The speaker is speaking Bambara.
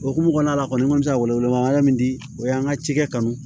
Okumu kɔnɔna la kɔni n ko ka wele wele ma min di o y'an ka cikɛ kanu